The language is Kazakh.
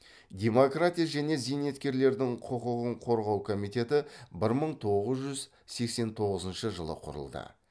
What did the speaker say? демократия және зейнеткерлердің құқығын қорғау комитеті бір мың тоғыз жүз сексен тоғызыншы жылы құрылды